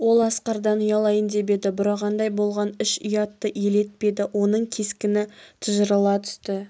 ол асқардан ұялайын деп еді бұрағандай болған іш ұятты елетпеді оның кескіні тыжырыла түсті